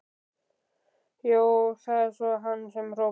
Jú, það er hann sem hrópar.